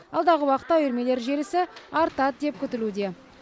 алдағы уақытта үйірмелер желісі артады деп күтілуде